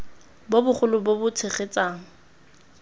bo bogolo bo bo tshegetsang